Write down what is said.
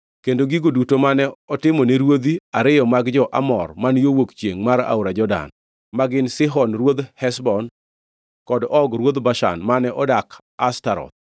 kendo gigo duto mane otimone ruodhi ariyo mag jo-Amor man yo wuok chiengʼ mar aora Jordan, ma gin Sihon ruodh Heshbon kod Og ruodh Bashan, mane odak Ashtaroth.